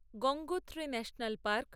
Gangotri national park